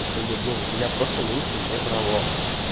и как бы блин у меня просто меньше не брало